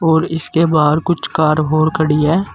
और इसके बाहर कुछ कार और खड़ी है।